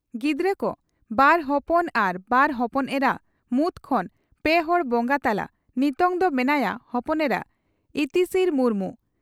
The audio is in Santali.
ᱜᱤᱫᱽᱨᱟᱹ ᱠᱚ ᱺ ᱵᱟᱨ ᱦᱚᱯᱚᱱ ᱟᱨ ᱵᱟᱨ ᱦᱚᱯᱚᱱ ᱮᱨᱟ ᱢᱩᱫᱽ ᱠᱷᱚᱱ ᱯᱮ ᱦᱚᱲ ᱵᱚᱸᱜᱟ ᱛᱟᱞᱟ ᱱᱤᱛᱚᱝ ᱫᱚ ᱢᱮᱱᱟᱭᱟ ᱦᱚᱯᱚᱱ ᱮᱨᱟ ᱤᱛᱤᱥᱨᱤ ᱢᱩᱨᱢᱩ ᱾